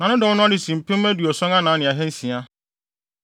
Na ne dɔm no ano si mpem aduɔson anan ne ahansia (74,600).